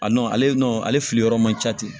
A nɔn ale nɔ ale filiyɔrɔ man ca ten